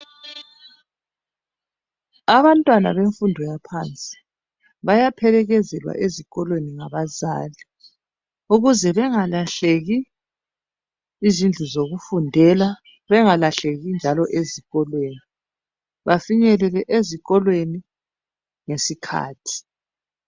Abantwana benfundo yaphansi bayaphelekezela ezikolweni ngabazali. Ukuze bengalahleki izindlu zokufundela, bengalahleki njalo ezikolweni. bafinyelele ezikolweni ngesikhathi.